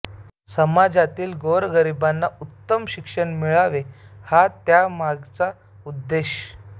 समाजातील गोरगरिबांना उत्तम शिक्षण मिळावे हा त्या मागचा उद्देश